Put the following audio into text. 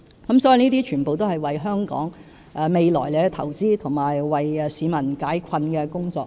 這些全是為香港未來投資及為市民解困的工作。